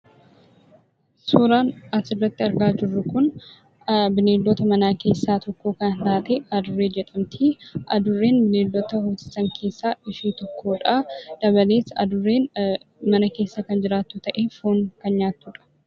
Suuraan asirratti argaa jirru kun bineeldota manaa keessaa tokko kan taate 'Adurree' jedhamti. Adurreen bineeldota hoosisan keessaa ishee tokkodha. Kana malees, Adurreen mana keessa kan jiraattu ta'ee foon kan nyaattudha.